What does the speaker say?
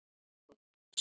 Þín systir, Eygló.